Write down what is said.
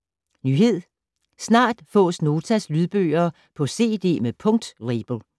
Nyhed: Snart fås Notas lydbøger på cd med punktlabel